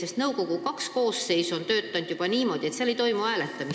Juba nõukogu kaks koosseisu on töötanud niimoodi, et seal ei toimu hääletamist.